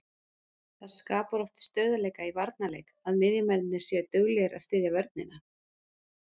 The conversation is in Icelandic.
Það skapar oft stöðugleika í varnarleik að miðjumennirnir séu duglegir að styðja vörnina.